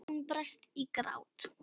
Hún brast í grát.